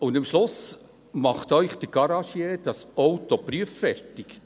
Und am Schluss macht Ihnen der Garagier das Auto prüffertig.